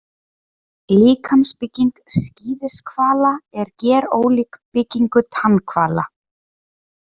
Líkamsbygging skíðishvala er gerólík byggingu tannhvala.